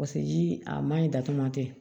Paseke ji a man ɲi datugu ma kɛ